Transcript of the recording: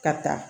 Ka taa